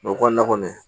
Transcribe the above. u kɔni na kɔni